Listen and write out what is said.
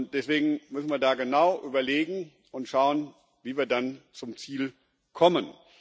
Deswegen müssen wir da genau überlegen und schauen, wie wir dann zum Ziel kommen.